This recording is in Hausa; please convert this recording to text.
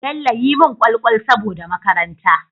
Bello yi mun kwal kwal saboda makaranta